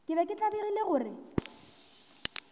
ke be ke tlabegile gore